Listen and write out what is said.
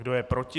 Kdo je proti?